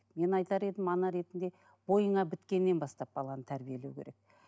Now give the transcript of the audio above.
мен айтар едім ана ретінде бойыңа біткеннен бастап баланы тәрбиелеу керек